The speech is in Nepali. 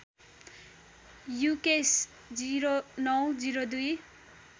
युकेश ०९ ०२